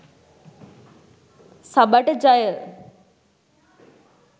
සබට ජය